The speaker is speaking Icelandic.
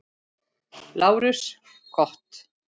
LÁRUS: Gott.